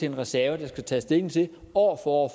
en reserve der skal tages stilling til år for år